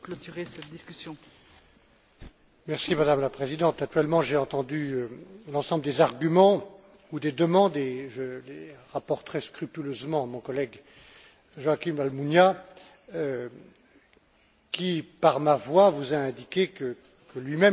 Madame la Présidente, actuellement j'ai entendu l'ensemble des arguments ou des demandes et je les rapporterai scrupuleusement à mon collègue Joaquín Almunia qui, par ma voix, vous a indiqué que lui même considère qu'il n'y a pas de raison aujourd'hui de proposer